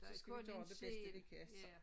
Så skal vi gøre det bedste vi kan så